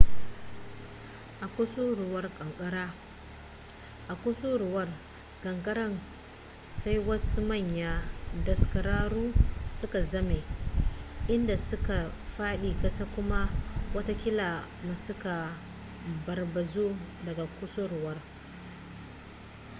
a kusuruwar kankarar sai wasu manyan daskararru suka zame inda suka fadi kasa kuma watakila ma suka barbazu daga kusurwar